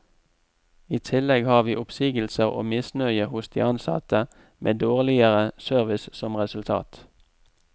I tillegg har vi oppsigelser og misnøye hos de ansatte, med dårligere service som resultat.